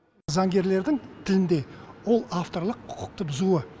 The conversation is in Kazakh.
заңгерлердің тілінде ол авторлық құқықты бұзуы